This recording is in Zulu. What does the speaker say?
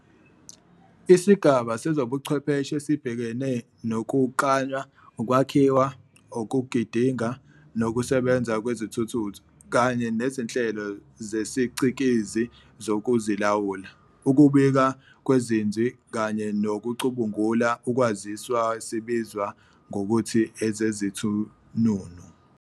Isigaba sezobuchwepheshe esibhekene nokuklanywa, ukwakhiwa, ukugidinga, nokusebenza kwezithununu, kanye nezinhlelo zesiCikizi zokuzilawula, ukubika kweziNzwi, kanye nokucubungula ukwaziswa sibizwa ngokuthi ezeziThununu.